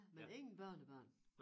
Men ingen børnebørn